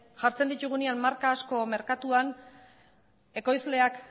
jartzen ditugunean marka asko merkatuan ekoizleak